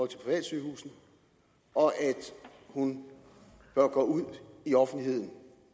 til privatsygehusene og at hun bør gå ud i offentligheden